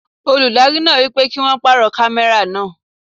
Olùdarí náà wípé kí won pàrọ̀ kámẹ́rà náà.